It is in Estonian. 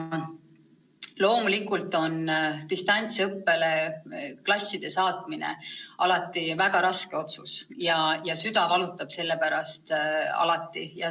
Loomulikult on klasside distantsõppele saatmine alati väga raske otsus, süda valutab selle pärast alati.